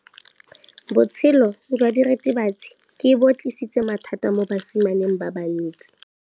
Botshelo jwa diritibatsi ke bo tlisitse mathata mo basimaneng ba bantsi.